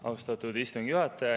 Austatud istungi juhataja!